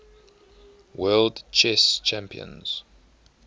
world chess champions